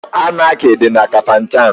Anaki dị na Kafanchan.